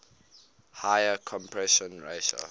higher compression ratio